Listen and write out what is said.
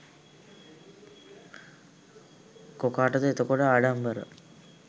කොකාටද එතකොට ආඩම්බර?